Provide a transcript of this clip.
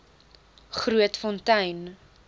grootfontein